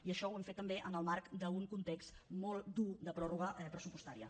i això ho hem fet també en el marc d’un context molt dur de pròrroga pressupostària